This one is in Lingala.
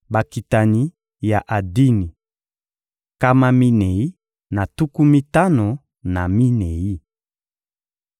Bakitani ya Adini: nkama minei na tuku mitano na minei.